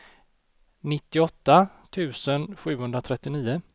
nittioåtta tusen sjuhundratrettionio